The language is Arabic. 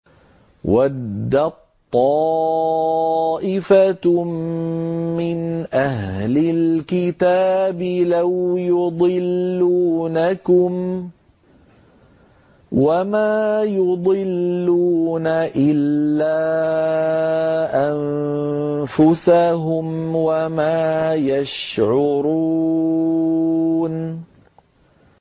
وَدَّت طَّائِفَةٌ مِّنْ أَهْلِ الْكِتَابِ لَوْ يُضِلُّونَكُمْ وَمَا يُضِلُّونَ إِلَّا أَنفُسَهُمْ وَمَا يَشْعُرُونَ